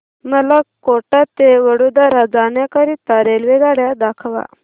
मला कोटा ते वडोदरा जाण्या करीता रेल्वेगाड्या दाखवा